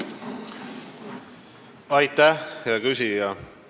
Aitäh, hea küsija!